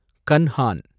கன்ஹான்